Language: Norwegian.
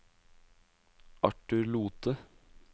Arthur Lothe